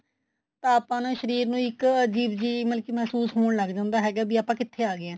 ਤਾਂ ਆਪਣੇ ਸ਼ਰੀਰ ਨੂੰ ਇੱਕ ਅਜੀਬ ਜੀ ਮਲਕੀ ਮਹਿਸੂਸ ਹੋਣ ਲੱਗ ਜਾਂਦਾ ਹੈਗਾ ਵੀ ਆਪਾਂ ਕਿੱਥੇ ਆ ਗਏ ਹਾਂ